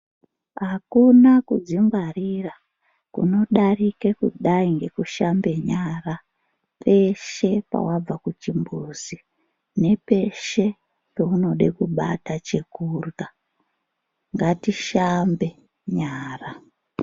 Akuna kudzingwarira kunodarike kudai ngekushambe nyara peshe pawabva kuchimbuzi nepeshe paunode kubata chekurya ngatishambe nyara.